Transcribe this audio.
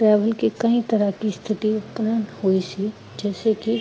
travel ਕੀ ਕਈ ਤਰ੍ਹਾਂ ਕੀ ਸਥਿਤੀ ਉਤਪਨ ਹੋਈ ਸੀ, ਜਿਸਸੇ ਕੀ